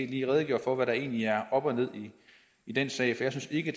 lige redegør for hvad der egentlig er op og ned i den sag for jeg synes ikke at